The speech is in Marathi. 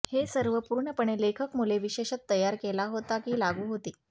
हे सर्व पूर्णपणे लेखक मुले विशेषत तयार केला होता की लागू होते